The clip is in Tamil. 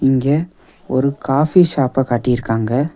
இங்க ஒரு காஃபி ஷாப்ப காட்டிருக்காங்க.